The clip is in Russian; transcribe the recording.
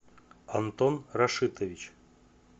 антон рашитович